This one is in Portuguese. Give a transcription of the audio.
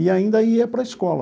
E ainda ia para a escola.